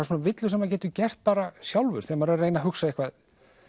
villur sem maður getur gert bara sjálfur þegar maður er að reyna að hugsa eitthvað